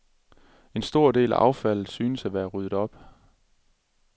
En stor del af affaldet synes at være rydet op.